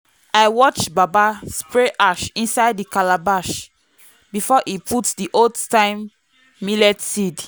i watch baba spray ash inside the calabash before he put the old-time millet seeds.